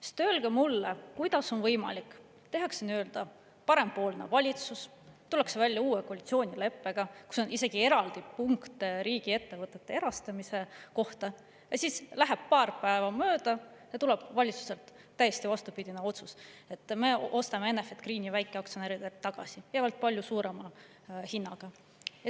Sest öelge mulle, kuidas on võimalik, et tehakse nii-öelda parempoolne valitsus, tullakse välja uue koalitsioonileppega, kus on isegi eraldi punkt riigiettevõtete erastamise kohta, aga siis läheb paar päeva mööda ja valitsuselt tuleb täiesti vastupidine otsus: me ostame Enefit Greeni väikeaktsionäridelt tagasi ja veel palju suurema hinnaga.